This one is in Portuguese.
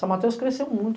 São Mateus cresceu muito.